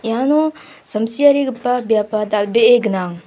iano samsiarigipa biapba dal·bee gnang.